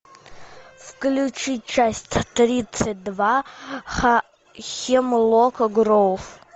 включи часть тридцать два хемлока гроув